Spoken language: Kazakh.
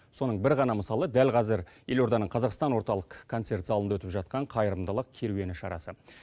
соның бір ғана мысалы дәл қазір елорданың қазақстан орталық концерт залында өтіп жатқан қайырымдылық керуені шарасы